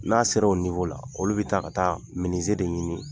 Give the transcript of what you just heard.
N'a ser'o la olu bɛ taa ka taa de ɲini.